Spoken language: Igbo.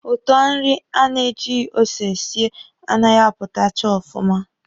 Ụtọ nri a na ejighi ose sie a naghị apụtacha ọfụma.